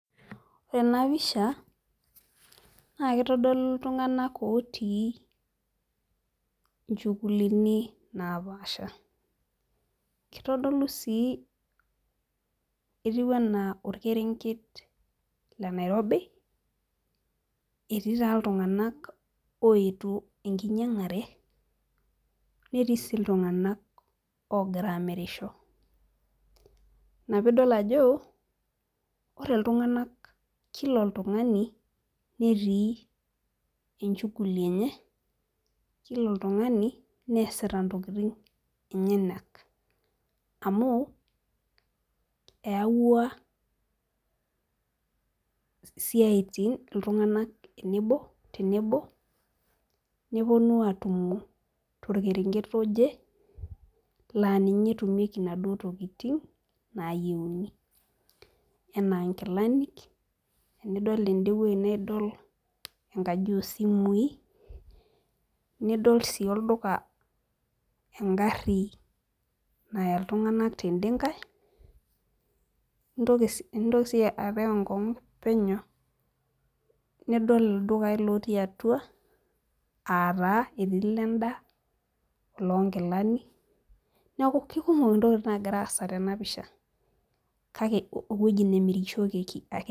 Ore ena pisha naa kitodolu iltunganak otii inchugulini napaasha. kitodolu sii etiu anaa olkerenket le Nairobi, etii taa iltunganak oyetuo enkinyiang'are, netii sii iltunganak oogira amirisho. ina pee idol ajo ore iltunganak Kila oltungani netii enchuguli enye. kila oltungani neesita ntokitin enyenak. amu eeyawua siatin iltunganak tenebo. nepuonu aatumo, torkerenket oje laa ninye netumieki inaduoo tokitin naayieuni. enaa. nkilanik tenidol ede wueji naa idol enkaji oosimui. nidol sii olduka. egari Naya iltunganak tede nkae, intokitin sii apik enkong'u penyo. nidol ildukai lotio atua, aa taa etii Ile daa oloonkilani. neeku kikumok ntokitin nagira aasa tena pisha. kake ewueji nemirishoreki ake ninye.